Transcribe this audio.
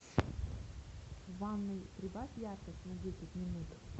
в ванной прибавь яркость на десять минут